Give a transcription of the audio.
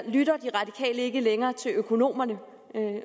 lytter de radikale ikke længere til økonomerne